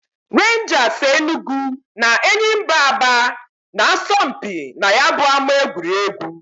Renjas Enugu na Enyimba Aba na -asọ mpị na ya bu ama egwuregwu.